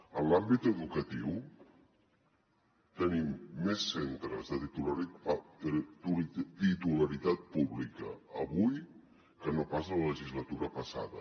en l’àmbit educatiu tenim més centres de titularitat pública avui que no pas la legislatura passada